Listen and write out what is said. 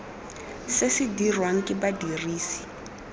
se se dirwang ke badirisi